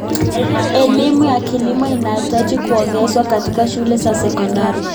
Elimu ya kilimo inahitaji kuongezwa katika shule za sekondari.